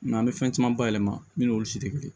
N'an bɛ fɛn caman bayɛlɛma min n'olu si tɛ kelen ye